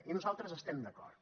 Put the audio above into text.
i nosaltres hi estem d’acord